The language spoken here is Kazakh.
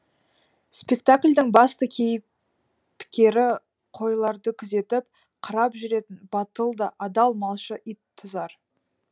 спектаклдің басты кейіпкері қойларды күзетіп қарап жүретін батыл да адал малшы ит тұзар